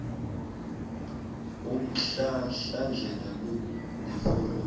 umhlahlandlela lo neforomo